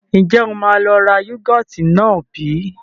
Ǹjẹ́ o máa lọ ra yúgọ́ọ́tì náà bí?